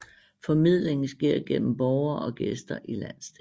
Formidlingen sker gennem borgere og gæster i landsdelen